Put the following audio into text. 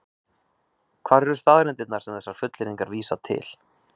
Hvar eru staðreyndirnar sem þessar fullyrðingar vísa til?